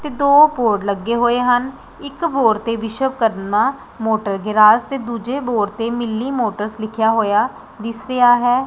ਤੇ ਦੋ ਹੋਰ ਲੱਗੇ ਹੋਏ ਹਨ ਇੱਕ ਬੋਰਡ ਤੇ ਵਿਸ਼ਵਕਰਮਾ ਮੋਟਰ ਗਿਰਾਜ ਤੇ ਦੂਜੇ ਬੋਰਡ ਤੇ ਮਿੱਲੀ ਮੋਟਰਸ ਲਿਖਿਆ ਹੋਇਆ ਦਿਸ ਰਿਹਾ ਹੈ।